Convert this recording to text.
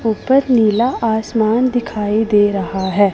ऊपर नीला आसमान दिखाई दे रहा हैं।